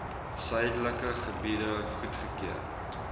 suidelike gebiede goedgekeur